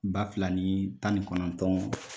Ba fila ni tan ni kɔnɔntɔn